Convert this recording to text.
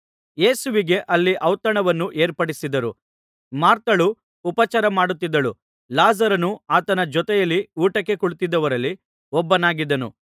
ಯೇಸುವಿಗೆ ಅಲ್ಲಿ ಔತಣವನ್ನು ಏರ್ಪಡಿಸಿದ್ದರು ಮಾರ್ಥಳು ಉಪಚಾರ ಮಾಡುತ್ತಿದ್ದಳು ಲಾಜರನು ಆತನ ಜೊತೆಯಲ್ಲಿ ಊಟಕ್ಕೆ ಕುಳಿತಿದ್ದವರಲ್ಲಿ ಒಬ್ಬನಾಗಿದ್ದನು